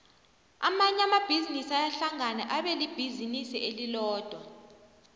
amanye amabhizinisi ayahlangana abelibhizinisi elilodwa